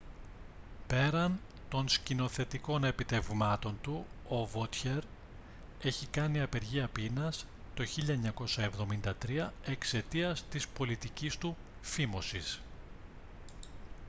πέραν των σκηνοθετικών επιτευγμάτων του o vautier έχει κάνει απεργία πείνας το 1973 εξαιτίας της πολιτικής του φίμωσης